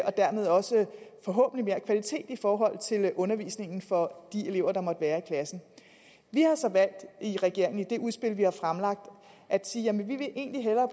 og dermed også forhåbentlig mere kvalitet i forhold til undervisningen for de elever der måtte være i klassen vi har så valgt i regeringen i det udspil vi har fremlagt at sige at vi egentlig hellere